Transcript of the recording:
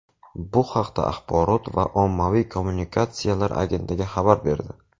Bu haqda Axborot va ommaviy kommunikatsiyalar agentligi xabar berdi .